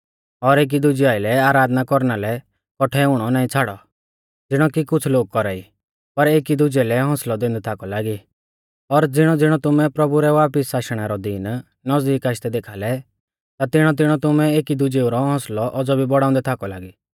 और एकी दुजै आइलै आराधना कौरना लै कौठै हुणौ नाईं छ़ाड़ौ ज़िणौ कि कुछ़ लोग कौरा ई पर एकी दुजै कै हौसलै दैंदै थाकौ लागी और ज़िणौज़िणौ तुमै प्रभु रै वापिस आशणै रौ दिन नज़दीक आशदै देखा लै ता तिणौतिणौ तुमै एकी दुजेऊ रौ हौसलौ औज़ौ भी बौड़ाउंदै थाकौ लागी